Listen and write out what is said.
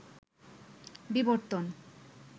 বিবর্তন